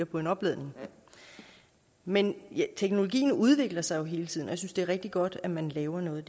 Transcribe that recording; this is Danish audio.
på en opladning men teknologien udvikler sig jo hele tiden og jeg synes det er rigtig godt at man laver noget